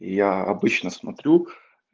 я обычно смотрю